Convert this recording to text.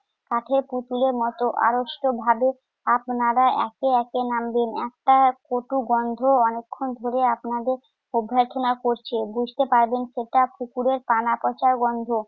কাঠের পুতুলের মতো আড়ষ্টভাবে আপনারা একে একে নাম দিন। একটা কটু গন্ধ অনেকক্ষণ ধরে আপনাদের অভ্যর্থনা করছে। বুঝতে পারবেন সেটা কুকুরের কানাকষার গন্ধ।